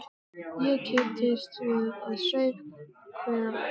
Ég kipptist við og saup hveljur.